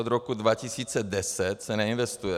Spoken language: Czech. Od rok 2010 se neinvestuje.